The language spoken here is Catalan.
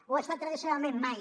ho ha estat tradicionalment mai